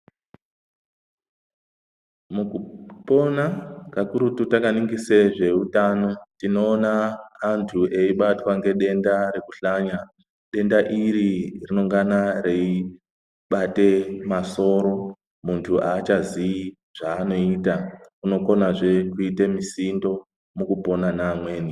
Mukupona kakurutu takaningise zveutano, tinoona antu eibatwa ngedenda rekuhlanya. Denda iri rinongana reibate masoro, muntu haachazii zvaanoita. Unokonazve kuite misindo mukupona neamweni.